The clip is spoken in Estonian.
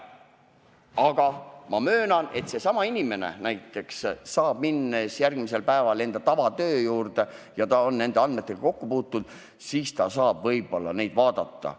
Aga ma möönan, et seesama inimene, minnes järgmisel päeval oma tavatöö juurde ja olles nende andmetega kokku puutund, saab võib-olla neid andmeid vaadata.